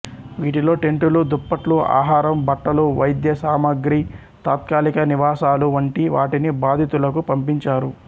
వీటిలో టెంటులు దుప్పట్లు ఆహారం బట్టలు వైద్య సామాగ్రై తాత్కాలిక నివాసాలు వంటి వాటిని బాధితులకు పంపించారు